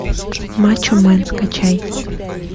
мачо мэн скачай